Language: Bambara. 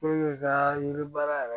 i ka yiri baara yɛrɛ